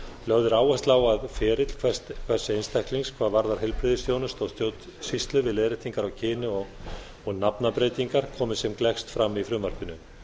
lögð er áhersla á að ferill hvers einstaklings hvað varðar heilbrigðisþjónustu og stjórnsýslu við leiðréttingar á kyni og nafnabreytingar komi sem gleggst fram í frumvarpinu